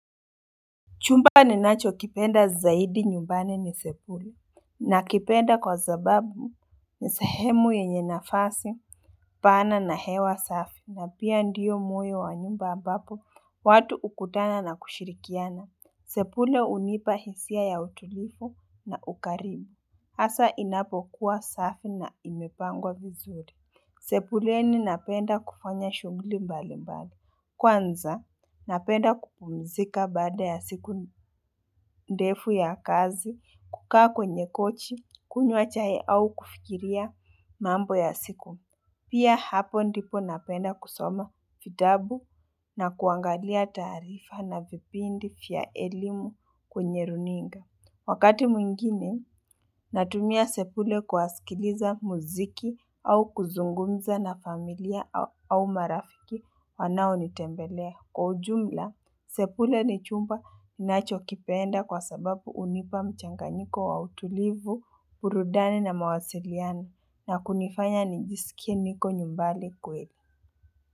Chumba ni nacho kipenda zaidi nyumbani ni sebule. Nakipenda kwa sababu ni sehemu yenye nafasi. Pana na hewa safi. Na pia ndio myo wa nyumba ambapo watu hukutana na kushirikiana. Sebule hunipa hisia ya utulivu na ukarimu. Hasa inapokuwa safi na imepangwa vizuri. Sebuleni napenda kufanya shughuli mbali mbali. Kwanza, napenda kupumzika baada ya siku ndefu ya kazi, kukaa kwenye kochi, kunywa chai au kufikiria mambo ya siku. Pia hapo ndipo napenda kusoma vitabu na kuangalia taarifa na vipindi vya elimu kwenye runinga. Wakati mwingine, natumia sebule kuwasikiliza muziki au kuzungumza na familia au marafiki wanao nitembelea. Kwa ujumla, sebule ni chumba ninacho kipenda kwa sababu hunipa mchanganiko wa utulivu, burudani na mawasiliano na kunifanya nijisikie niko nyumbani kweli.